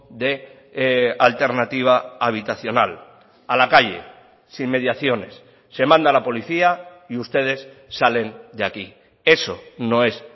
de alternativa habitacional a la calle sin mediaciones se manda a la policía y ustedes salen de aquí eso no es